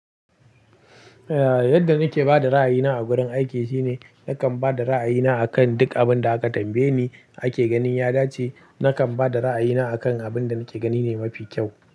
Yadda nake ba da ra'ayina a wurin aiki shine nakan ba da ra'ayina akan duk abin da aka tambaye ni ake ganin ya dace. Nakan ba da ra'ayina akan abin da nake gani ne mafi kyau.